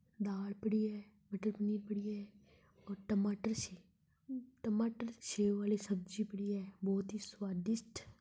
दाल पड़ी है। मटर पनीर पड़ी है और टमाटर सी टमाटर सेव वाली सब्जी पड़ी है। बहुत ही स्वादिस्ट--